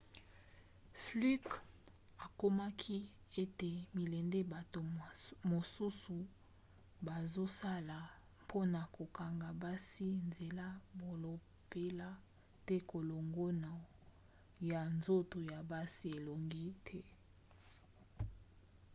fluke akomaki ete milende bato mosusu bazosala mpona kokanga basi nzela balobela te kolongono ya nzoto ya basi elongi te